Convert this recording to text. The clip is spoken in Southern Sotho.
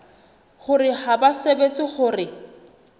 hore ha ba tsebe hore